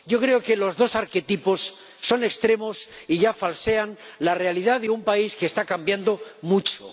Yo creo que los dos arquetipos son extremos y falsean la realidad de un país que está cambiando mucho.